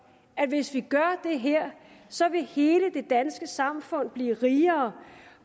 at hvis vi gør det her så vil hele det danske samfund blive rigere